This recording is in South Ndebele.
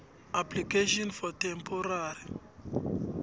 application for temporary